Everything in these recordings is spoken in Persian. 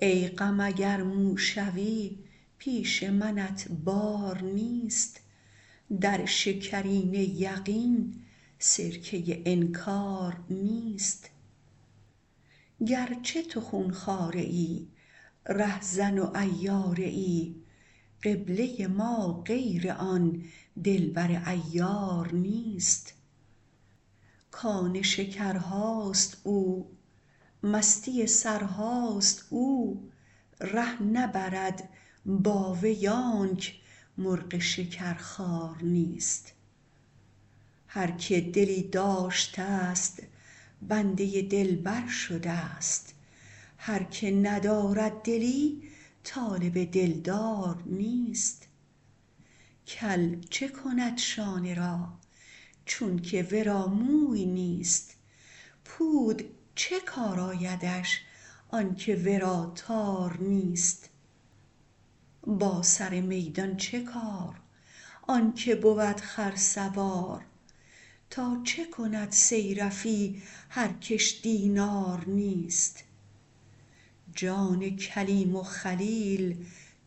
ای غم اگر مو شوی پیش منت بار نیست در شکرینه یقین سرکه انکار نیست گر چه تو خون خواره ای رهزن و عیاره ای قبله ما غیر آن دلبر عیار نیست کان شکرهاست او مستی سرهاست او ره نبرد با وی آنک مرغ شکرخوار نیست هر که دلی داشتست بنده دلبر شدست هر که ندارد دلی طالب دلدار نیست کل چه کند شانه را چونک ورا موی نیست پود چه کار آیدش آنک ورا تار نیست با سر میدان چه کار آن که بود خرسوار تا چه کند صیرفی هر کش دینار نیست جان کلیم و خلیل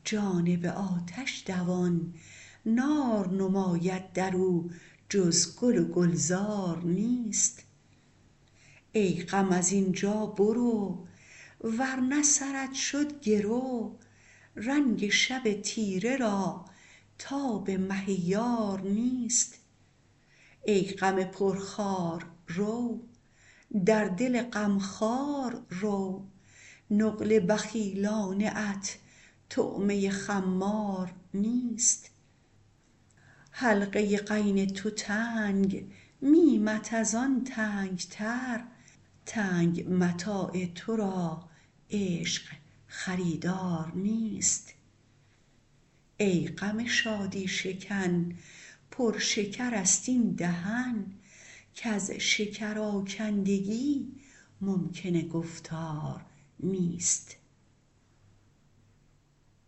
جانب آتش دوان نار نماید در او جز گل و گلزار نیست ای غم از این جا برو ور نه سرت شد گرو رنگ شب تیره را تاب مه یار نیست ای غم پرخار رو در دل غم خوار رو نقل بخیلانه ات طعمه خمار نیست حلقه غین تو تنگ میمت از آن تنگ تر تنگ متاع تو را عشق خریدار نیست ای غم شادی شکن پر شکرست این دهن کز شکرآکندگی ممکن گفتار نیست